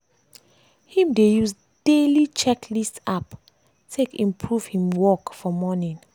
him dey use daily checklist app take improve him work for morning.